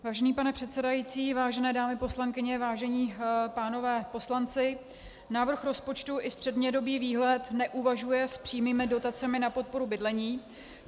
Vážený pane předsedající, vážené dámy poslankyně, vážení pánové poslanci, návrh rozpočtu i střednědobý výhled neuvažuje s přímými dotacemi na podporu bydlení.